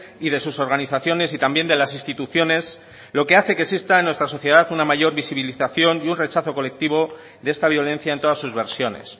y de sus organizaciones y también de las instituciones lo que hace que exista en nuestra sociedad una mayor visibilización y un rechazo colectivo de esta violencia en todas sus versiones